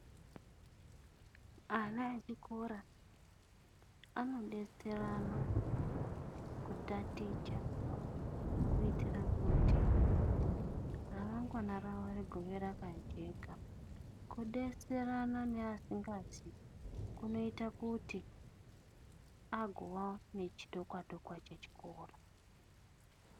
Ana echikora anodetserana kutaticha kuitira kuti ramangwana ravo rigova rakajeka. Kudetserana neasingazii kunoita kuti agowa nechidokwa dokwa chechikora.